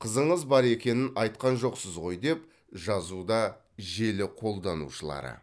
қызыңыз бар екенін айтқан жоқсыз ғой деп жазуда желі қолданушылары